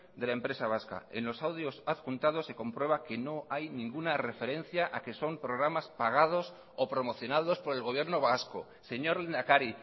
de la empresa vasca en los audios adjuntados se comprueba que no hay ninguna referencia a que son programas pagados o promocionados por el gobierno vasco señor lehendakari